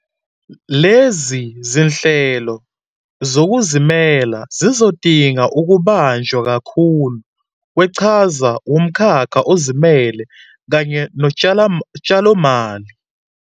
Lezi zinhlelo zokuzimisela zizodinga ukubanjwa kakhulu kweqhaza wumkhakha ozimele kanye notshalomali.